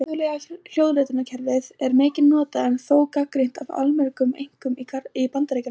Alþjóðlega hljóðritunarkerfið er mikið notað en þó gagnrýnt af allmörgum einkum í Bandaríkjunum.